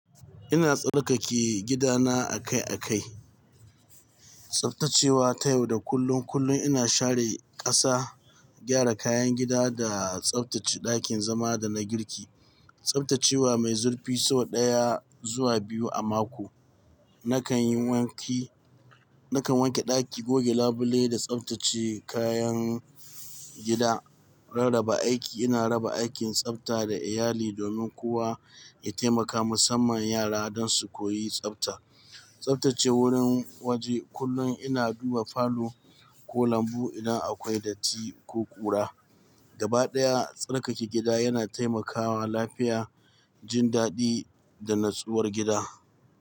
Ina tsarkake gidana akai-akai, tsaftacewa ta yau da kullum. Kullum ina share ƙasa, gyara kayan gida da tsaftace ɗakin zama da na girki. Tsaftacewa mai zurfi sau ɗaya zuwa biyu a mako. Nakan yi wanki, nakan wanke ɗaki, goge labule da tsaftace kayan gida. Rarraba aiki, ina raba aikin tsafta da iyali domin kowa ya taimaka, musamman yara don su koyi tsafta. Tsaftace wurin waje, kullum ina duba falo ko lambu idan akwai datti ko ƙura. Gaba ɗaya, tsarkake gida yana taimakawa lafiya, jin daɗi da natsuwar gida.